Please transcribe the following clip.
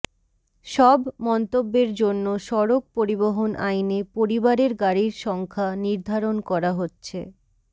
সব মন্তব্যের জন্য সড়ক পরিবহন আইনে পরিবারের গাড়ির সংখ্যা নির্ধারণ করা হচ্ছে